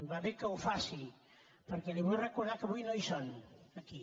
va bé que ho faci perquè li vull recordar que avui no hi són aquí